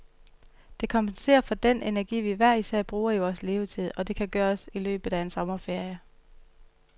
Det kompenserer for den energi, vi hver især bruger i vores levetid, og det kan gøres i løbet af en sommerferie.